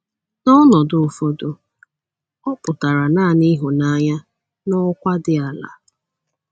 N’ọnọdụ ụfọdụ, ọ pụtara nanị ịhụnanya n’ọkwa dị ala.